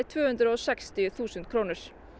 tvö hundruð og sextíu þúsund